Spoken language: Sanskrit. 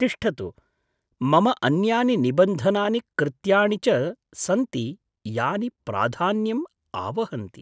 तिष्ठतु, मम अन्यानि निबन्धनानि कृत्याणि च सन्ति यानि प्राधान्यं आवहन्ति।